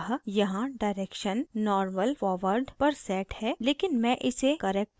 अतः यहाँ direction normal forward पर set है लेकिन मैं इसे corrective backward पर set करुँगी